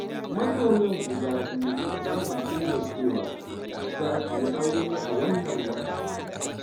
Masoyan guda biyu sun amince da cewa, za su yi aure a wannan watan.